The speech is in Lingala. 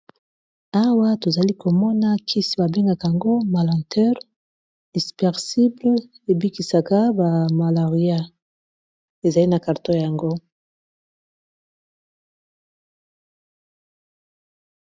Awa tozali komona kisi ba bengaka yango malanteur dispersible ebikisaka ba malaria ezali na karton yango.